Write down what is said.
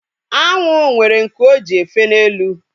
Anwụ nwere nku o ji efe n'elu